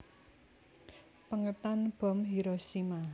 Pèngetan bom Hiroshima